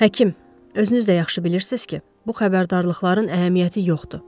Həkim, özünüz də yaxşı bilirsiz ki, bu xəbərdarlıqların əhəmiyyəti yoxdur.